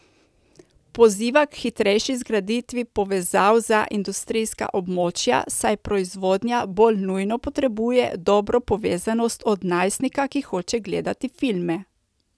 Poziva k hitrejši zgraditvi povezav za industrijska območja, saj proizvodnja bolj nujno potrebuje dobro povezanost od najstnika, ki hoče gledati filme.